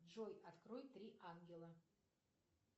джой открой три ангела